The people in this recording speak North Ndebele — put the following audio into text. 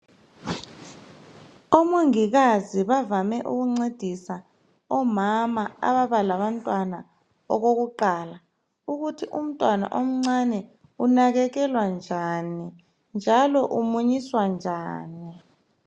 Omongikazi bavame ukuncedisa omama ababalabantwana okukuqala, ukuthi umntwana omncane unakekelwa njani, njalo umunyiswa njani.